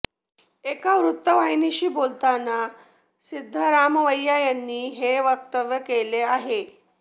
एका वृत्तवाहिनीशी बोलताना सिद्धरामय्या यांनी हे वक्तव्य केलं आहे